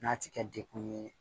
N'a ti kɛ dekun ye